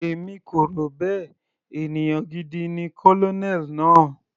Èmi kò rò bẹ́ẹ̀, ènìyàn gidi ni Colonel náà.